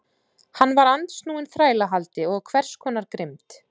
Hann var andsnúinn þrælahaldi og hvers konar grimmd.